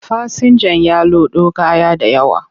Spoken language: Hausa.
Fasinjan ya lodo kaya da yawa,